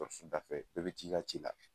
da fɛ bɛɛ bi t'i ka ci la.